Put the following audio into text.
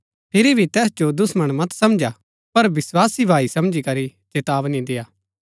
फिरी भी तैस जो दुश्‍मण मत समंझा पर विस्वासी भाई समझी करी चेतावनी देय्आ